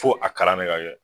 Fo a kalan ne ka kɛ